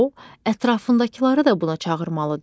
O, ətrafındakıları da buna çağırmalıdır.